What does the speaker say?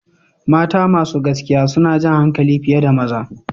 Women with fair complexion tend to attract more men